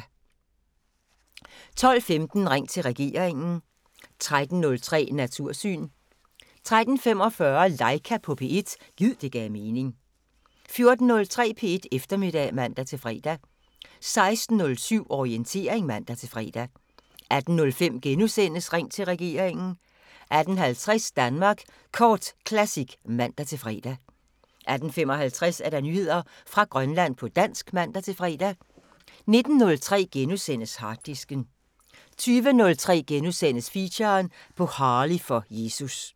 12:15: Ring til regeringen 13:03: Natursyn 13:45: Laika på P1 – gid det gav mening 14:03: P1 Eftermiddag (man-fre) 16:07: Orientering (man-fre) 18:05: Ring til regeringen * 18:50: Danmark Kort Classic (man-fre) 18:55: Nyheder fra Grønland på dansk (man-fre) 19:03: Harddisken * 20:03: Feature: På Harley for Jesus *